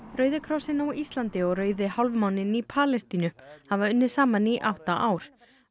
rauði krossinn á Íslandi og Rauði hálfmáninn í Palestínu hafa unnið saman í átta ár á